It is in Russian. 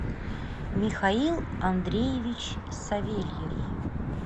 михаил андреевич савельев